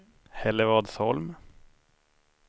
Hällevadsholm